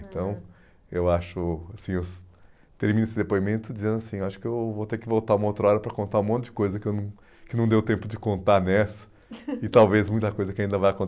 Então, eu acho, assim, eu termino esse depoimento dizendo assim, acho que eu vou ter que voltar uma outra hora para contar um monte de coisa que eu não, que não deu tempo de contar nessa e talvez muita coisa que ainda vai